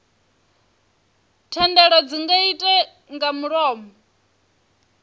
thendelo dzi nga irte nga mulomo